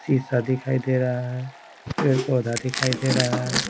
शीशा दिखाई दे रहा है पेड़-पौधा दिखाई दे रहा है।